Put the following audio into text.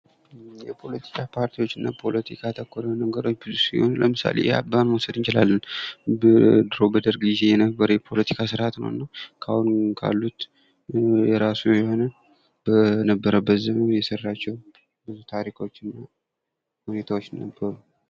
የፖለቲካ ፓርቲዎችና ፖለቲካ ተኮረ የሆኑ ነገሮችን ብዙ ሲሆኑ ለምሳሌ የአብን መውሰድ እንችላለን። በድሮ በደርግ ጊዜ የነበር የፖለቲካ ስርአት ነው እና ካሉት የራሱ የሆነ በነበረበት ዘመን የሰራቸው ብዙ ታሪኮች እና ሁኔታዎች ነበሩ።